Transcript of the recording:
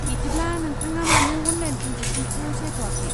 बिदिब्ला, नोंथाङा मानो अनलाइन ट्रेनजेक्सनखौ सायख'आखै?